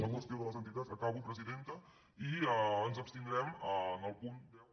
la qüestió de les entitats acabo presidenta i ens abstindrem en el punt deu